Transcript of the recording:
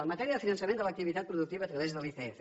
en matèria de finançament de l’activitat productiva a través de l’icf